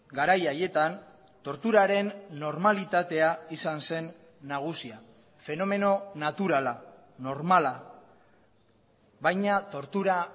garai haietan torturaren normalitatea izan zen nagusia fenomeno naturala normala baina tortura